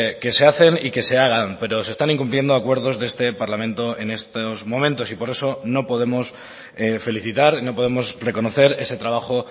que se hacen y que se hagan pero se están incumpliendo acuerdos de este parlamento en estos momentos y por eso no podemos felicitar no podemos reconocer ese trabajo